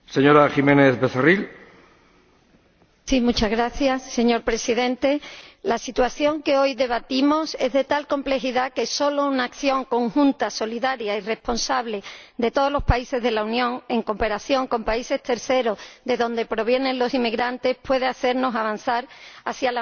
Señor Presidente, la situación que hoy debatimos es de tal complejidad que solo una acción conjunta, solidaria y responsable de todos los países de la Unión, en cooperación con países terceros de donde provienen los inmigrantes, puede hacernos avanzar hacia la meta que todos —y repito, todos— queremos alcanzar.